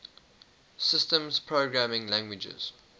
systems programming languages